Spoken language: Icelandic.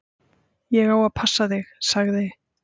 Ég á að passa þig, sagði